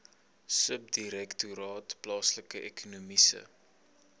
subdirektoraat plaaslike ekonomiese